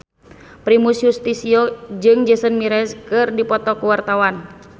Primus Yustisio jeung Jason Mraz keur dipoto ku wartawan